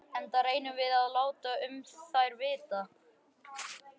Enda reynum við að láta um þær vita.